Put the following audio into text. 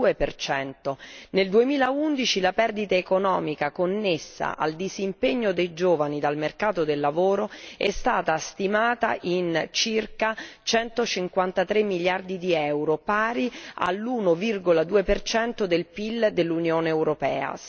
42. Nel 2011 la perdita economica connessa al disimpegno dei giovani dal mercato del lavoro è stata stimata a circa 153 miliardi di euro, pari all'1,2 del PIL dell'Unione europea.